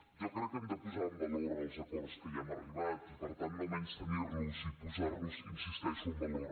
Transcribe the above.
jo crec que hem de posar en valor els acords a què ja hem arribat i per tant no menystenir los i posar los hi insisteixo en valor